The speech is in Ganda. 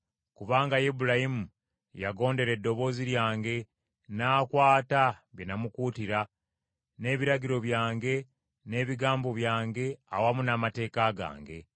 kubanga Ibulayimu yagondera eddoboozi lyange, n’akwata bye namukuutira, n’ebiragiro byange, n’ebigambo byange awamu n’amateeka gange.”